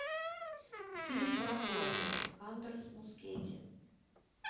фильм про клоуна андрес мускетти